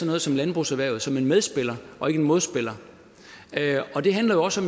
man ser landbrugserhvervet som en medspiller og ikke en modspiller og det handler jo også